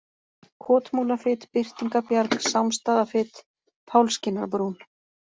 Kotmúlafit, Birtingabjarg, Sámsstaðafit, Pálskinnarbrún